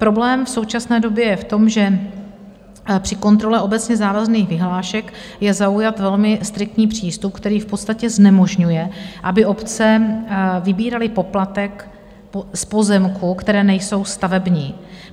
Problém v současné době je v tom, že při kontrole obecně závazných vyhlášek je zaujat velmi striktní přístup, který v podstatě znemožňuje, aby obce vybíraly poplatek z pozemků, které nejsou stavební.